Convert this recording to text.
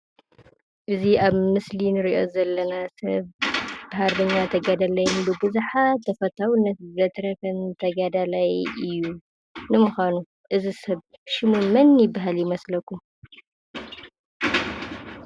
እዚ ኣብ መስሊ እንሪኦ ዘለና ሰብ ሃርበኛ ተጋዳላይ ንብዙሓት ተፈታውነት ዘትረፈን ተጋዳይ እዩ። ንምኳኑ እዚ ሰብ ሽሙ መን ይበሃል ይመስለኩም ?